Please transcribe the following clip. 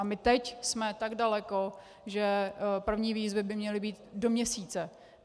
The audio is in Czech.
A my teď jsme tak daleko, že první výzvy by měly být do měsíce.